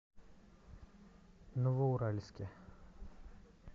новоуральске